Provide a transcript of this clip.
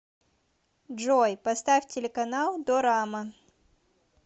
джой поставь телеканал дорама